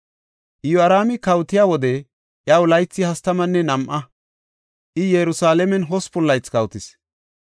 Iyoraami kawotiya wode iyaw laythay hastamanne nam7a; I Yerusalaamen hospun laythi kawotis.